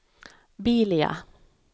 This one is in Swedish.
Bilia